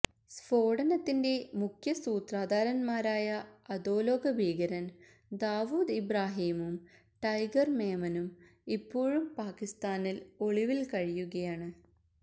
സ്ഫോടനത്തിന്റെ മുഖ്യസൂത്രധാരന്മാരായ അധോലോക ഭീകരന് ദാവൂദ് ഇബ്രാഹീമും ടൈഗര് മേമനും ഇപ്പോഴും പാക്കിസ്ഥാനില് ഒളിവില് കഴിയുകയാണ്